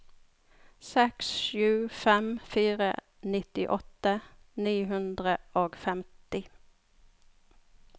seks sju fem fire nittiåtte ni hundre og femti